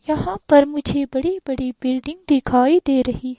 वहां पर मुझे बड़ी-बड़ी बिल्डिंग दिखाई दे रही--